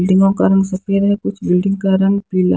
बिल्डिंगों का रंग सफेद है कुछ बिल्डिंग का रंग पीला--